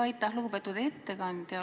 Aitäh, lugupeetud ettekandja!